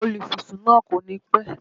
Olúfisún náà kò ní pẹ́